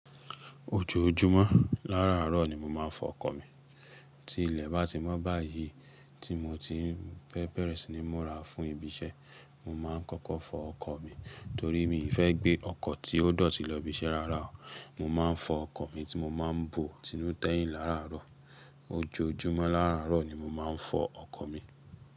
Ojoojúmọ́ láàárọ̀ ni mo máa ń fọ ọkọ̀ mi. Tí ilẹ̀ bá ti mọ́ báyìí tí mo ti ń fẹ́ bẹ̀rẹ̀ sí ní múra fún ibi iṣẹ́, mo máa ń kọ́kọ́ fọ ọkọ̀ mi torí mi fẹ́ gbé ọkọ̀ tí ó dọ̀tí lọ ibi iṣẹ́ rárá o. Mo máa ń fọ ọkọ̀ mi tí mo máa ń bò ti nú tẹ́yìn láàárọ̀. Ojoojúmọ́ láàárọ̀ ni mo máa ń fọ ọkọ̀ mi.